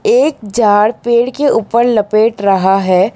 एक झाड़ पेड़ के ऊपर लपेट रहा है।